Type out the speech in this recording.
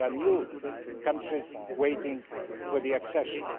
There are new countries waiting for accession.